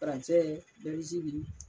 Faransɛ